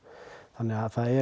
þannig að það er